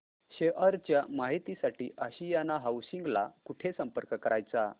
share च्या माहिती साठी आशियाना हाऊसिंग ला कुठे संपर्क करायचा